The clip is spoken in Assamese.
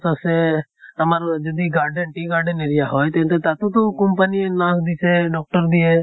চ আছে আমাৰ যদি garden tea garden area হয়, তেন্তে তাতো company য়ে nurse দিছে, doctor দিয়ে।